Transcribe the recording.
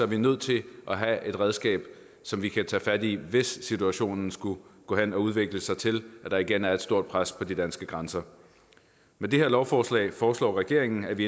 vi nødt til at have et redskab som vi kan tage fat i hvis situationen skulle gå hen og udvikle sig til at der igen er et stort pres på de danske grænser med det her lovforslag foreslår regeringen at vi